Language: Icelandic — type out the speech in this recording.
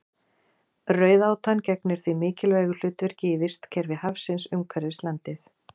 Rauðátan gegnir því mikilvægu hlutverki í vistkerfi hafsins umhverfis landið.